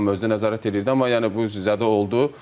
Qurban müəllim özü də nəzarət eləyirdi, amma yəni bu sizə də oldu.